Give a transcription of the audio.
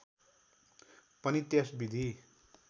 पनि त्यस विधि